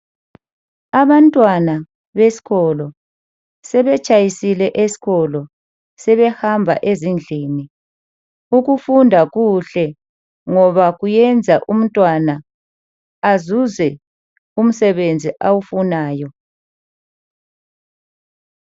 Abantwana beskolo, sebetshayisile eskolo, sebehamba ezindlini. Ukufunda kuhle ngoba kuyenza umntwana azuze umsebenzi awufunayo.